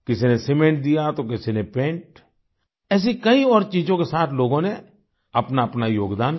किसी ने सीमेंट दिया तो किसी ने पेंट ऐसी कई और चीजों के साथ लोगों ने अपनाअपना योगदान किया